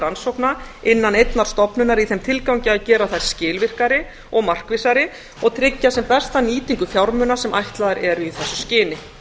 rannsókna innan einnar stofnunar í þeim tilgangi að gera þær skilvirkari og markvissari og tryggja sem besta nýtingu fjármuna sem ætlaðar eru í þessu skyni